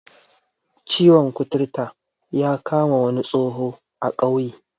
Ciwon kuturta ya kama wani tsoho a ƙauye